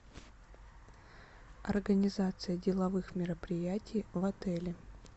организация деловых мероприятий в отеле